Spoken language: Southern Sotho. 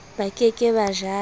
ba ke ke ba jala